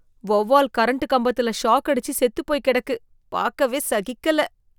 வௌவால் கரண்ட் கம்பத்துல ஷாக் அடிச்சு செத்து போய் கிடக்கு, பாக்கவே சகிக்கல.